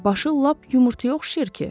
Başı lap yumurtaya oxşayır ki?